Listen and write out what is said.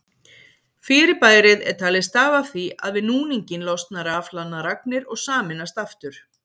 Fyrirbærið er talið stafa af því að við núninginn losna rafhlaðnar agnir og sameinast aftur.